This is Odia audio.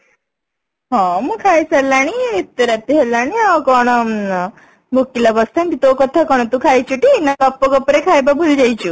ହଁ ମୁଁ ଖାଇ ସାରିଲିଣି ଏତେ ରାତି ହେଲାଣି ଆଉ କଣ ଭୋକିଲା ବସିଥାନ୍ତି ତୋ କଥା କଣ ତୁ ଖାଇଛୁ ଟି ନା ଗପ ଗପ ରେ ଖାଇବା ଭୁଲି ଯାଇଛୁ